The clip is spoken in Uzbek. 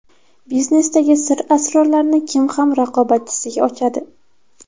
Biznesdagi sir-asrorlarni kim ham raqobatchisiga ochadi?